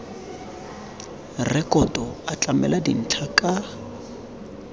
rekoto a tlamela dintlha ka